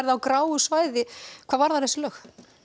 á gráu svæði hvað varðar lögin